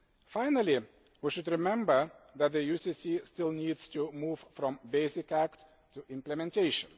Finally, we should remember that the UCC still needs to move from basic act to implementation.